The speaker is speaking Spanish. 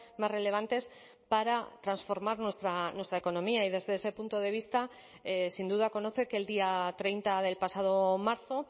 más relevantes para transformar nuestra economía y desde ese punto de vista sin duda conoce que el día treinta del pasado marzo